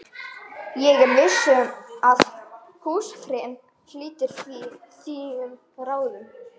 Ég er viss um að húsfreyjan hlítir þínum ráðum